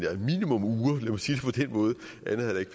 måde at jeg ikke